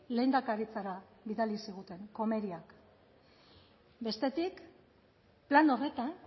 lehendakaritzara bidali ziguten komeriak bestetik plan horretan